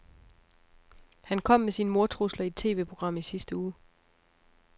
Han kom med sine mordtrusler i et TVprogram i sidste uge.